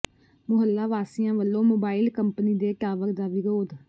ਮੁਹੱਲਾ ਵਾਸੀਆਂ ਵੱਲੋਂ mobile company ਦੇ ਟਾਵਰ ਦਾ ਵਿਰੋਧ